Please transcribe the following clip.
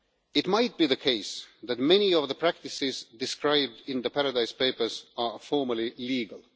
It might be the case that many of the practices described in the Paradise Papers are formally legal